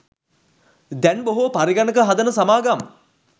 දැන් බොහෝ පරිගණක හදන සමාගම්